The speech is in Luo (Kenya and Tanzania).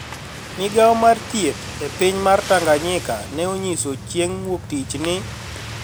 Migawo mar thieth e piny mar Tanganyika ne onyiso chieng ' wuok tich ni,